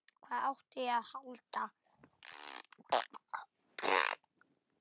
Hvað átti ég að halda?